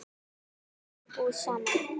Þau ráku búð saman.